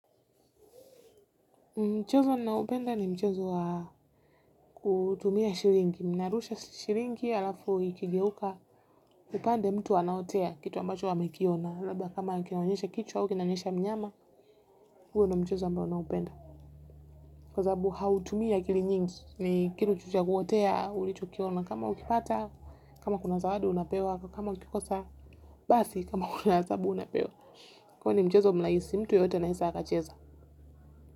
Mchezo ninao upenda ni mchezo wa kutumia shilingi. Ninarusha shilingi alafu ikigeuka upande mtu anaotea kitu ambacho amekiona. Labda kama akionyesha kichwa ama akionyesha mnyama huo ndio mchezo ambao naupenda. Kwa sasabu hautumia akili nyingi ni kitu tu cha kuotea ulicho kiona. Kama ukipata, kama kuna zawadi unapewa, kama ukikosa basi, kama kuna adhabu unapewa. Kwani ni mchezo mraisi, mtu yoyote ana weza akacheza.